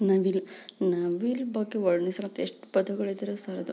ನವಿಲು ನವಿಲು ಬಗ್ಗೆ ವರ್ಣಿಸಲು ಎಷ್ಟು ಪದಗಳು ಇದ್ರೆ ಸಾಲದು.